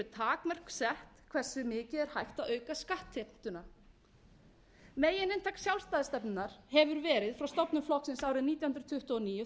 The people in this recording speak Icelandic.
takmörk sett hversu mikið er hægt að auka skattheimtuna megininntak sjálfstæðisstefnunnar hefur verið frá stofnun flokksins árið nítján hundruð tuttugu og níu